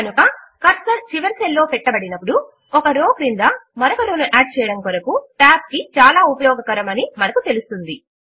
కనుక కర్సర్ చివరి సెల్ లో పెట్టబడినప్పుడు ఒక రో క్రింద మరొక రో ను యాడ్ చేయడము కొరకు Tab కీ చాలా ఉపయోగకరము అని మనము తెలుస్తుంది